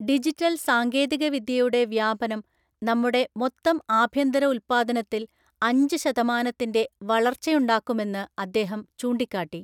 Digital‍ സാങ്കേതികവിദ്യയുടെ വ്യാപനം നമ്മുടെ മൊത്തം ആഭ്യന്തര ഉല്പ്പാദനത്തില്‍ അഞ്ച് ശതമാനത്തിന്‍റെ വളർച്ചയുണ്ടാക്കുമെന്ന് അദ്ദേഹം ചൂണ്ടിക്കാട്ടി.